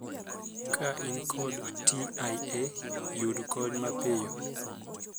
Ka in kod 'TIA', yud kony mapiyo.